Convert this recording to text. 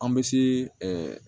An bɛ se